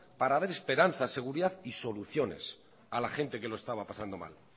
para dar esperanzas seguridad y soluciones a la gente que lo estaba pasando mal